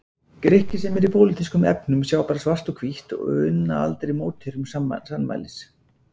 Grikki sem í pólitískum efnum sjá bara svart og hvítt og unna aldrei mótherjum sannmælis.